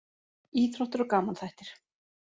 Íþróttir og gamanþættir